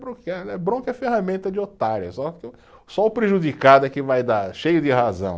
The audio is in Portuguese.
Bronquear né, bronca é ferramenta de otária, só o prejudicado é que vai dar, cheio de razão.